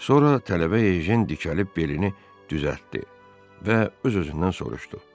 Sonra tələbə Ejen dikəlib belini düzəltdi və öz-özündən soruşdu.